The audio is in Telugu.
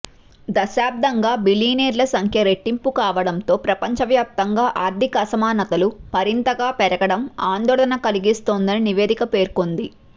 దశాబ్దంగా బిలియనీర్ల సంఖ్య రెట్టింపు కావడంతో ప్రపంచవ్యాప్తంగా ఆర్థిక అసమానతలు మరింతగా పెరగడం ఆందోళన కలిగిస్తోందని నివేదిక పేర్కొంది